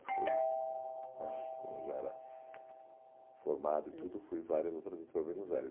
Depois né, quando eu já era formado e tudo, fui várias outras vezes para Buenos Aires.